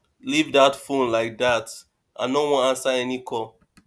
leave dat phone like dat i no wan answer any call